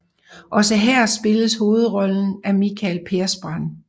Også her spilles hovedrollen af Mikael Persbrandt